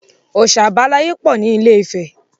Ọ̀oṣà àbáláyé pọ̀ ni ilé-ìfẹ́.